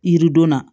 Yiridon na